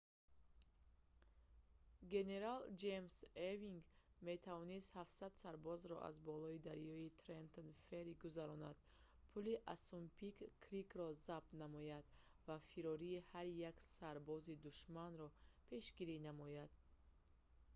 генерал ҷеймс евинг метавонист 700 сарбозро аз болои дарёи трентон ферри гузаронад пули ассунпинк крикро забт намояд ва фирори ҳар як сарбози душманро пешгирӣ намояд